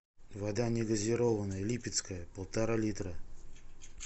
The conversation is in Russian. вода негазированная липецкая полтора литра